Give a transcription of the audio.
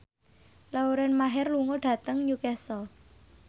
Lauren Maher lunga dhateng Newcastle